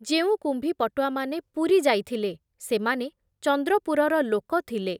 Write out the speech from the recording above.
ଯେଉଁ କୁମ୍ଭୀପଟୁଆମାନେ ପୁରୀ ଯାଇଥିଲେ, ସେମାନେ ଚନ୍ଦ୍ରପୁରର ଲୋକ ଥିଲେ ।